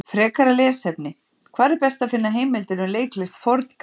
Frekara lesefni: Hvar er best að finna heimildir um leiklist Forn-Grikkja?